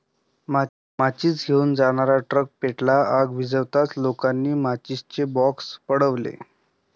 माचिस घेऊन जाणारा ट्रक पेटला, आग विझताच लोकांनी माचिसचे बॉक्स पळवले